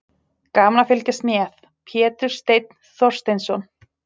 Gaman að fylgjast með: Pétur Steinn Þorsteinsson.